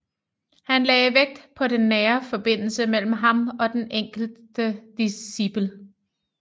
Han lagde vægt på den nære forbindelse mellem ham og den enkelte discipel